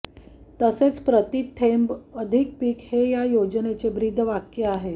तसेच प्रति थेंब अधिक पीक हे या योजनेचे ब्रीदवाक्य आहे